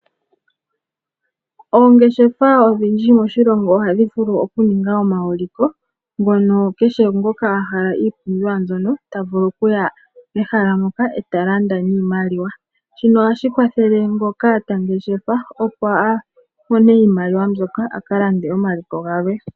Oongeshefa odhindji moshilongo ohadhi vulu okuninga omauliko ngono kehe ngoka a hala ipumbiwa mbyono ta vulu okuya mehala moka eta landa niimaliwa. Shino ohashi kwathele ngono ta ngeshefa opo amone iimaliwa mbyoka akalande omaliko galwe.